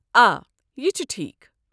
آ، یہِ چھُ ٹھیٖک۔